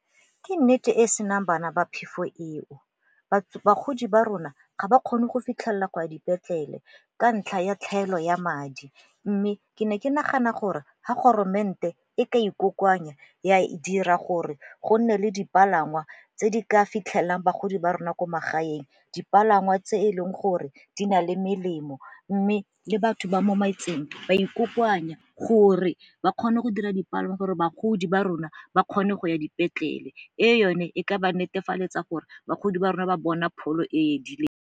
Ke nnete e e senang bana ba phefo eo. Bagodi ba rona ga ba kgone go fitlhelela go a dipetlele ka ntlha ya tlhaelo ya madi mme ke ne ke nagana gore ha e ka ikokoanya ya dira gore go nne le dipalangwa tse di ka fitlhelelang bagodi ba rona ko magaeng, dipalangwa tse e leng gore di na le melemo. Mme le batho ba mo metseng ba ikokoanya gore ba kgone go dira dipalangwa gore bagodi ba rona ba kgone go ya dipetlele e yone e ka ba netefaletsa gore bagodi ba rona ba bona pholo e e edileng.